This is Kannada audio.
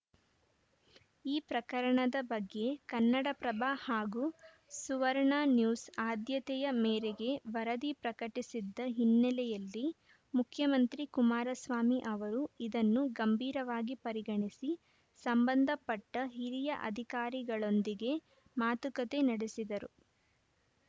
ಈ ಪ್ರಕರಣದ ಬಗ್ಗೆ ಕನ್ನಡಪ್ರಭ ಹಾಗೂ ಸುವರ್ಣನ್ಯೂಸ್‌ ಆದ್ಯತೆಯ ಮೇರೆಗೆ ವರದಿ ಪ್ರಕಟಿಸಿದ್ದ ಹಿನ್ನೆಲೆಯಲ್ಲಿ ಮುಖ್ಯಮಂತ್ರಿ ಕುಮಾರಸ್ವಾಮಿ ಅವರು ಇದನ್ನು ಗಂಭೀರವಾಗಿ ಪರಿಗಣಿಸಿ ಸಂಬಂಧಪಟ್ಟಹಿರಿಯ ಅಧಿಕಾರಿಗಳೊಂದಿಗೆ ಮಾತುಕತೆ ನಡೆಸಿದರು